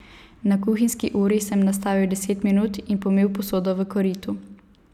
Na kuhinjski uri sem nastavil deset minut in pomil posodo v koritu.